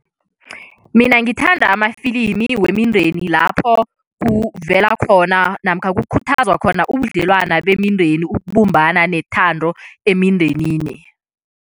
Mina ngithanda amafilimi wemindeni lapho kuvela khona namkha kukhuthazwa khona ubudlelwana bemindeni, ukubumbana nethando emindenini.